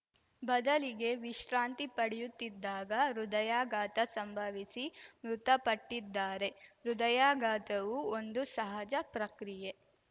ಬದಲಿಗೆ ವಿಶ್ರಾಂತಿ ಪಡೆಯುತ್ತಿದ್ದಾಗ ಹೃದಯಘಾತ ಸಂಭವಿಸಿ ಮೃತಪಟ್ಟಿದ್ದಾರೆ ಹೃದಯಘಾತವು ಒಂದು ಸಹಜ ಪ್ರಕ್ರಿಯೆ